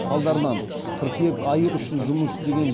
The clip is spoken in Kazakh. салдарынан қыркүйек айы үшін жұмыс істеген